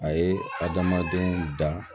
A ye adamadenw da